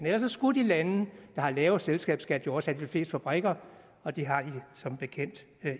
ellers skulle de lande der har lavere selskabsskat jo også have de fleste fabrikker og det har de som bekendt